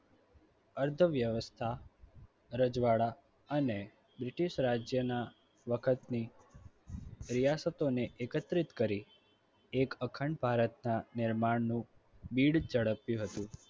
અર્ધવ્યવસ્થા રજવાડા અને british રાજ્યના વખતથી રિયાસતોને એકત્રિત કરી એક અખંડ ભારતના નિર્માણનું બિડ ઝડપ્યું હતું.